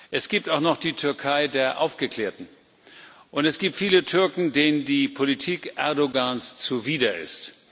es gibt auch noch die Türkei der Aufgeklärten, und es gibt viele Türken, denen die Politik Erdoğans zuwider ist.